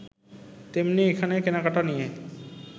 তেমনি এখানে কেনাকেটা নিয়ে